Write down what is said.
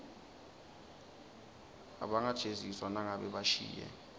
abangajeziswa nangabe bashiye